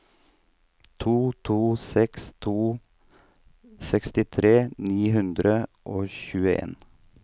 to to seks to sekstitre ni hundre og tjueen